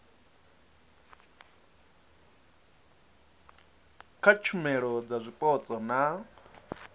kha tshumelo dza zwipotso na